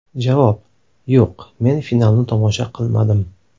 Javob: Yo‘q, men finalni tomosha qilmadim.